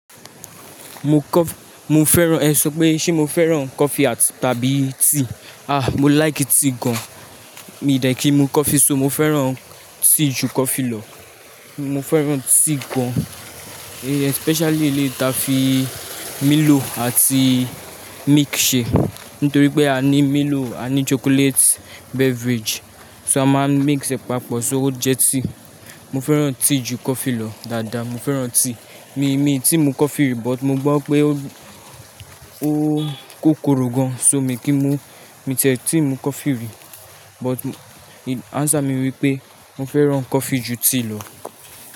Mo kọ́, mo fẹ́ràn, ẹ sọ pé ṣé mo fẹ́ràn coffee àti-- tàbí tea? Ah, mo like tea gan. Mi dẹ̀ kí ń mu coffee, so mo fẹ́ràn tea jù coffee lọ. Mo fẹ́ràn tea gan, especially eléyi ta fi milo àti milk ṣe. Nítorí pé a ní milo, a ní chocolate beverage, so a máa ń mix ẹ̀ papọ̀, so ó jẹ́ tea. Mo fẹ́ràn tea jù coffee lọ, dáadáa mo fẹ́ràn tea. Mi, mi ti mu coffee rí, but mo gbọ́ pé ó, ó kòkoro gan, so mi kì í mu. Mi tẹ̀ẹ́ ti mu coffee rí, but answer mi wípé mo fẹ́ràn coffee jù tea lọ.